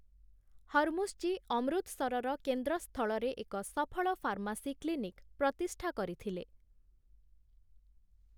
ହରମୁସଜୀ' ଅମୃତସରର କେନ୍ଦ୍ରସ୍ଥଳରେ ଏକ ସଫଳ ଫାର୍ମାସୀ କ୍ଲିନିକ୍‌ ପ୍ରତିଷ୍ଠା କରିଥିଲେ ।